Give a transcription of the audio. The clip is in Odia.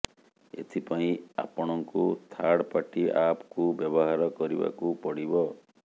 ଏଥିପାଇଁ ଆପଣଙ୍କୁ ଥାର୍ଡ ପାର୍ଟି ଆପକୁ ବ୍ୟବହାର କରିବାକୁ ପଡିବ